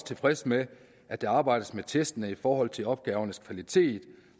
tilfreds med at der arbejdes med testene i forhold til opgavernes kvalitet